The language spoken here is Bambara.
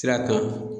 Sira kan